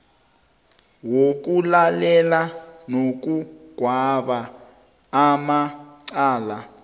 wokulalela nokugweba amacala